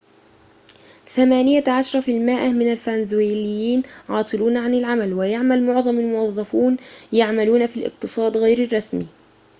ثمانية عشر في المائة من الفنزويليين عاطلون عن العمل ويعمل معظم الموظفون يعملون في الاقتصاد غير الرسمي